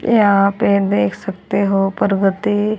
यहां पे देख सकते हो परगति --